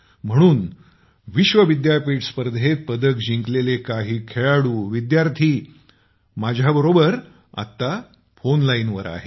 म्हणून विश्वविद्यापीठ स्पर्धेत पदकं जिंकलेले काही खेळाडूविद्यार्र्थी माझ्याशी फोन लाईनवर आहेत